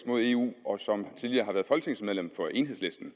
mod eu og som tidligere har været folketingsmedlem for enhedslisten